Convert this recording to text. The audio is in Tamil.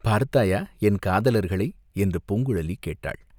"பார்த்தாயா என் காதலர்களை?" என்று பூங்குழலி கேட்டாள்.